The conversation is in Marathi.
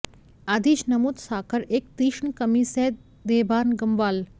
आधीच नमूद साखर एक तीक्ष्ण कमी सह देहभान गमवाल